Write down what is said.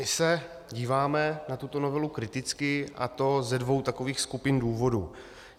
My se díváme na tuto novelu kriticky, a to ze dvou takových skupin důvodů.